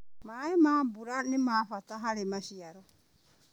Maĩ ma mbura nĩmabata harĩ maciaro.